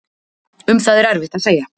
Um það er erfitt að segja.